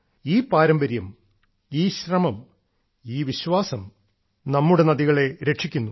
ഈ പാരമ്പര്യം ഈ ശ്രമം ഈ വിശ്വാസം നമ്മുടെ നദികളെ രക്ഷിക്കുന്നു